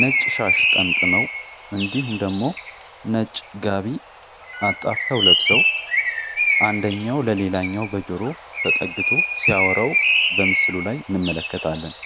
ነጭ ሻሽ ጠምጥመው እንዲሁም ደግሞ ነጭ ጋቢ አፍተው ለብሰው አንደኛው ለሌላኛው በጆሮ ተጠግቶ ሲያወራው በምስሉ ላይ እንመለከታለን